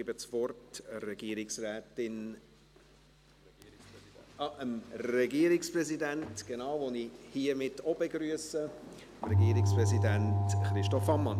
Ich gebe das Wort dem Regierungspräsidenten – den ich hiermit auch begrüsse – Christoph Ammann.